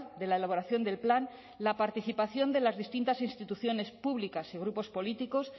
de la elaboración del plan la participación de las distintas instituciones públicas y grupos políticos